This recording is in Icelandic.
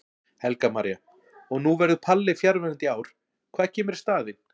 Helga María: Og nú verður Palli fjarverandi í ár, hvað kemur í staðinn?